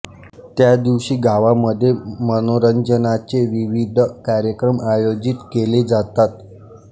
त्या दिवशी गावामध्ये मनोरंजनाचे विविध कार्यक्रम आयोजित केले जातात